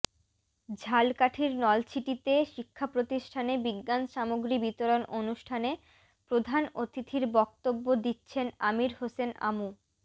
ঝালকাঠির নলছিটিতে শিক্ষাপ্রতিষ্ঠানে বিজ্ঞান সামগ্রী বিতরণ অনুষ্ঠানে প্রধান অতিথির বক্তব্য দিচ্ছেন আমির হোসেন আমু